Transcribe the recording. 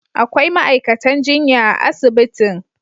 Akwai ma'aikatan jinya a asibitin.